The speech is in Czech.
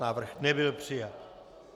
Návrh nebyl přijat.